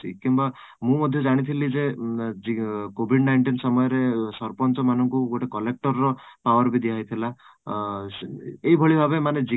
କିମ୍ବା ମୁଁ ମଧ୍ୟ ଜାଣିଥିଲି ଯେ covid nineteen ସମୟ ରେ ସରପଞ୍ଚ ମାନଙ୍କୁ ଗୋଟେ collector ର ଏଇ ଭଳି ଭାବେ